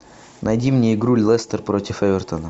найти мне игру лестер против эвертона